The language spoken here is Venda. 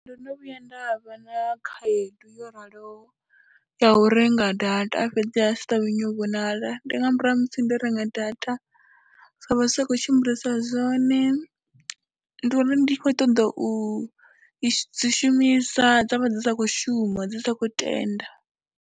Ndo no vhuya nda vha na khaedu yo raloho ya u renga data fhedzi dza si ṱavhanye u vhonala, ndi nga murahu ha musi ndo renga data dzo vha dzi sa khou tshimbilisa zwone, ndi uri ndi khou ṱoḓa u i shumisa dza vha dzi sa khou shuma, dzi sa khou tenda.